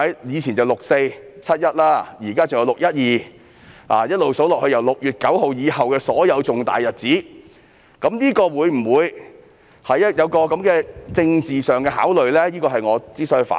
以往有"六四"、"七一"，現在還有"六一二"，一直數下去，便是自6月9日以後的所有重大日子，政府定會就這些日子作出政治考慮，因此我要提出反對。